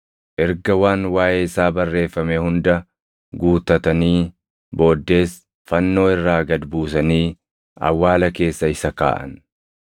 Erga waan waaʼee isaa barreeffame hunda guutatanii booddees fannoo irraa gad buusanii awwaala keessa isa kaaʼan.